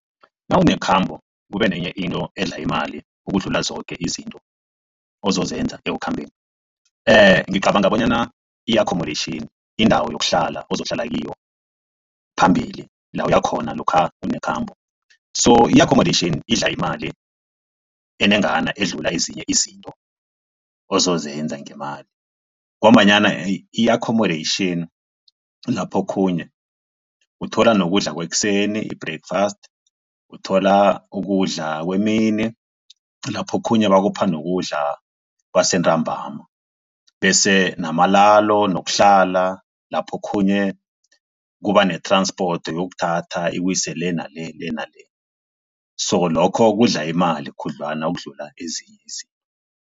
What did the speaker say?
Nawunekhambo kube nenye into edla imali ukudlula zoke izinto ozozenza ekukhambeni ngicabanga bonyana i-accommodation indawo yokuhlala ozokuhlala kiyo phambili la uyakhona lokha unekhambo. So i-accommodation idla imali enengana edlula ezinye izinto ozozenza ngemali ngombanyana i-accommodation lapho okhunye uthola nokudla kwekuseni i-breakfast, uthola ukudla kwemini lapho okhunye bakupha nokudla kwasentambama bese namalalo nokuhlala lapho okhunye kuba ne-transport yokukuthatha ikuse le nale le nale so lokho kudla imali khudlwana ukudlula ezinye izinto.